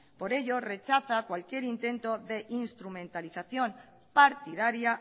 por ello rechaza cualquier intento de instrumentalización partidaria